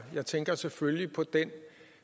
jeg tænker selvfølgelig på den